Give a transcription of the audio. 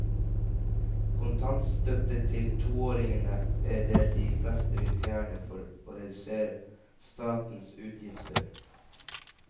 Kontantstøtte til toåringene er det de fleste vil fjerne for å redusere statens utgifter.